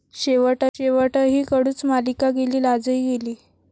शेवटही कडूच, मालिका गेली लाजही गेली